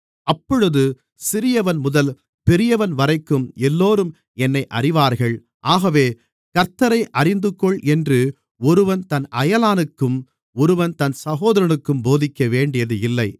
அப்பொழுது சிறியவன்முதல் பெரியவன்வரைக்கும் எல்லோரும் என்னை அறிவார்கள் ஆகவே கர்த்த்தரை அறிந்துகொள் என்று ஒருவன் தன் அயலானுக்கும் ஒருவன் தன் சகோதரனுக்கும் போதிக்கவேண்டியது இல்லை